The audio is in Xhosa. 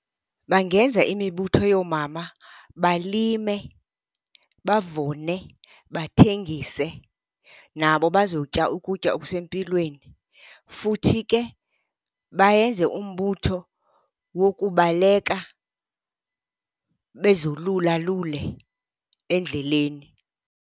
Bangenza imibutho yoomama balime, bavune, bathengise. Nabo bazotya ukutya okusempilweni. Futhi ke bayenze umbutho wokubaleka bezolulalule endleleni.